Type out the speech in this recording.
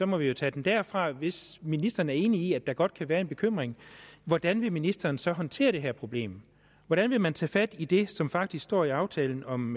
må vi jo tage den derfra men hvis ministeren er enig i at der godt kan være en bekymring hvordan vil ministeren så håndtere det her problem hvordan vil man tage fat i det som faktisk står i aftalen om